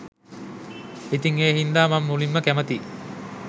ඉතිං ඒ හින්දා මං මුලින්ම කැමතියි